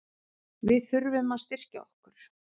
Við þurfum að styrkja okkur.